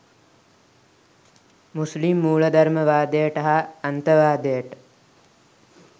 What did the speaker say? මුස්ලිම් මූලධර්මවාදයට හා අන්තවාදයට